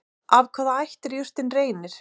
Af hvaða ætt er jurtin Reynir?